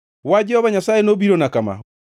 Wach Jehova Nyasaye nobirona kama: